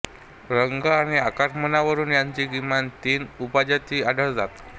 रंग आणि आकारमानावरून याच्या किमान तीन उपजाती आढळतात